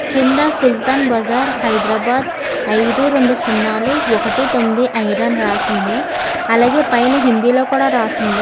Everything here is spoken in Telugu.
కింద సుల్తాన్ బజార్ హైదరాబాద్ అయిదు రెండు సున్నాలు ఒకటి తొమ్మిది అయిదు అని రాసుంది అలాగే పైన హిందీ లో కూడా రాసుంది.